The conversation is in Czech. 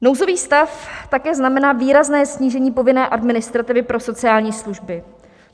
Nouzový stav také znamená výrazné snížení povinné administrativy pro sociální služby.